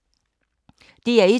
DR1